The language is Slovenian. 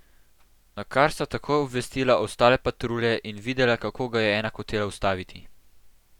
Nakar sta takoj obvestila ostale patrulje in videla, kako ga je ena hotela ustaviti.